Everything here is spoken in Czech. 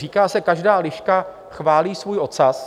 Říká se, každá liška chválí svůj ocas.